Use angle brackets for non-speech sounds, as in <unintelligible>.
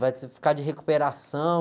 vai <unintelligible> ficar de recuperação.